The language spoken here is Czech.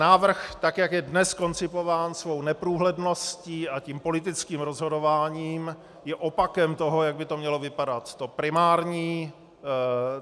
Návrh, tak jak je dnes koncipován svou neprůhledností a tím politickým rozhodováním, je opakem toho, jak by to mělo vypadat.